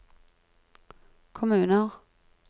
kommuner